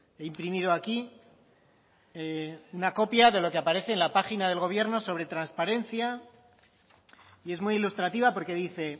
he imprimido aquí una copia de lo que aparece en la página del gobierno sobre transparencia y es muy ilustrativa porque dice